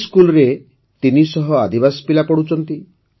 ଏହି ସ୍କୁଲରେ ତିନିଶହ ଆଦିବାସୀ ପିଲା ପଢ଼ୁଛନ୍ତି